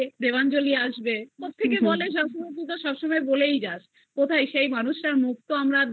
দেবাঞ্জলি আসবে আমার husband তুই তো সবসময় বলেই যাস কোথায় সেই মানুষটার মুখ তো আমরা আর